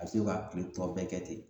A be se ka kile tɔ bɛɛ kɛ ten